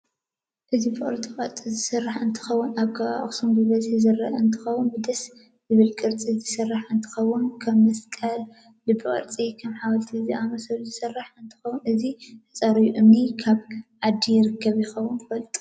እዚ ብቅርፃ ቅርፅ ዝስራሕ እንትከውን እንትከውን ኣብ ከባቢ ኣክሱም ብበዝሒ ዝርአ እንትኮን ብድስ ዝበለካ ቅርሒ ዝራሕ እንትከውን ከም መስቀል ልብ ቅርፂ ከም ሓወልቲ ዝኣምሰሎ ዝስራሕ እንትከውን እዚ ተፀራቢ እምኒ ካብ ዓድ ይርከብ ይከውን ትፍልጥዶ?